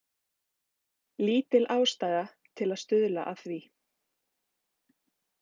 Lítil ástæða til að stuðla að því.